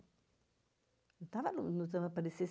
Eu estava